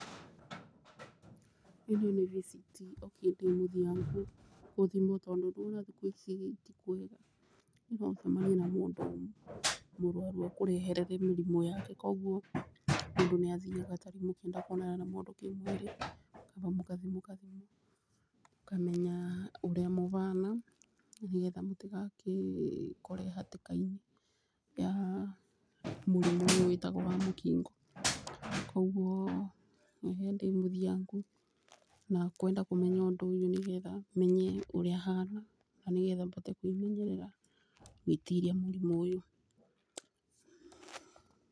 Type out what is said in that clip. ĩno nĩ VCT okĩ ndĩmũthiangu gũthimwo mũno tondũ thikũ ici ĩĩ tikwega, no ũcemanie na mũndũ mũrwaru akũrehere mũrimũ yake. Koguo mũndũ nĩ athiaga taringĩ akonana na mũndũ kĩmwĩrĩ, na mũkathi mũkathimwo mũkamenya ũrĩa mũbana nĩ getha mũtigagĩkore hatĩka-inĩ ya mũrimũ ũrĩa wĩtagwo wa Mũkingo. Koguo niĩ ndĩmũthiangu na kwenda kũmenya ũndũ ũyũ nĩ getha menye ũrĩa hana na nĩ getha mbote kwĩmenyerera gwĩtiria mũrimũ ũyũ.